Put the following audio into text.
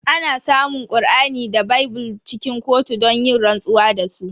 Ana samun Kur'ani da bible cikin kotu don yin rantsuwa da su.